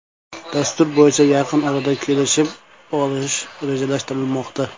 Dastur bo‘yicha yaqin orada kelishib olish rejalashtirilmoqda.